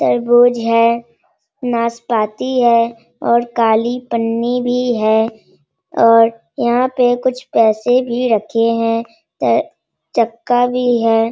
तरबूज है नासपाती है और काली पन्नी भी है और यहाँ पे कुछ पैसे भी रखे हैं | त चक्का भी है।